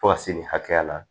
Fo ka se nin hakɛya la